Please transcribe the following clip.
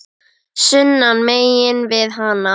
sunnan megin við hana.